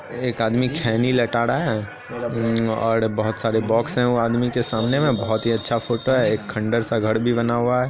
एक आदमी खैनी लटा रहा है और बहुत सारे बॉक्स है आदमी के सामने में बहुत ही अच्छा फोटो है एक खंडर सा घर भी बना हुआ है।